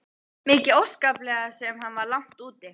Mikið óskaplega sem hann var langt úti.